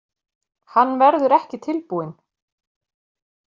Hann verður ekki tilbúinn